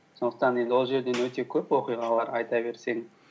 сондықтан енді ол жерден өте көп оқиғалар айта берсең